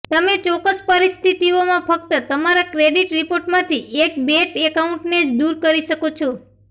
તમે ચોક્કસ પરિસ્થિતિઓમાં ફક્ત તમારા ક્રેડિટ રિપોર્ટમાંથી એક બૅટ એકાઉન્ટને જ દૂર કરી શકો છો